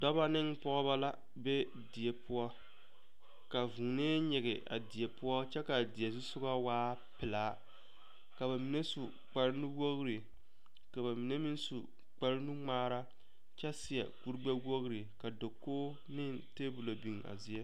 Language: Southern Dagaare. Dɔba ne pɔgeba la be die poɔ ka vuunee nyige a die poɔ kyɛ ka a die zu soga waa pelaa ka ba mine su kparenuwogre ka ba mine meŋ su kparenuŋmaara kyɛ seɛ kurigbɛwogre ka dakogi ne tabola biŋ a zie.